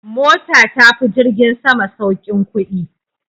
Mota ta fi jirgin sama saukin kudi.